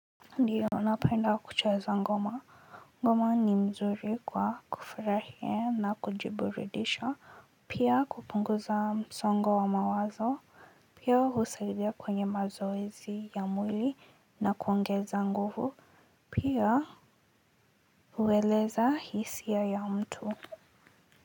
Ndio napenda kucheza ngoma ngoma ni mzuri kwa kufurahia na kujiburidisha pia kupunguza msongo wa mawazo pia husaidia kwenye mazoezi ya mwili na kuongeza nguvu pia kueleza hisia ya mtu.